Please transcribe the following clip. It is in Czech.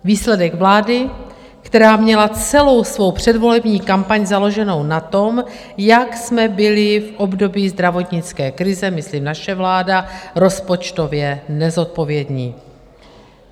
Výsledek vlády, která měla celou svou předvolební kampaň založenu na tom, jak jsme byli v období zdravotnické krize, myslím naše vláda, rozpočtově nezodpovědní.